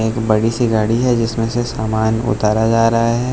बड़ी सी गाड़ी है जिसमें से सामान उतारा जा रहा है।